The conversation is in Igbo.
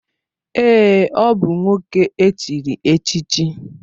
Èè, ọ bụ nwoke e chiri echichi.